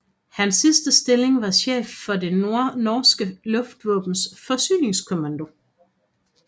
Hans sidste stilling var chef for det norske luftvåbens forsyningskommando